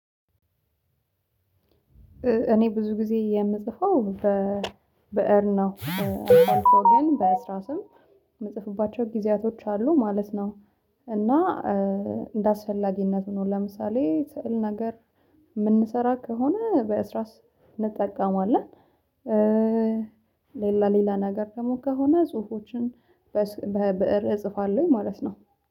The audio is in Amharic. እኔ ብዙ ጊዜ የምጽፈው በብእር ነው አልፎ ግን በእስራስም የምጽፍባቸው ጊዜያቶች አሉ ማለት ነው። እና እንደ አስፈላጊነት ነው ለምሳሌ ስዕል ነገር የምንሰራ ከሆነ በእስራስ እንጠቀማለን። ሌላ ሌላ ነገር ደግሞ ከሆነ ጽሁፎችን በብእር እጽፋለሁኝ ማለት ነው